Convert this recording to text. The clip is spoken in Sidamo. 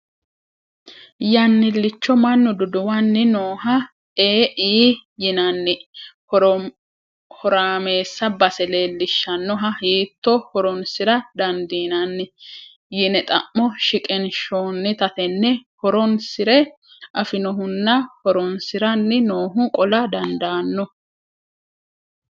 Yannilicho mannu duduwani nooha E,I yinnanni horamessa base leellishanoha hiitto horonsira dandiinanni ? Yinne xa'mo shiqqinshonnitta tene horonsire afinohunna horonsiranni noohu qolla dandaano.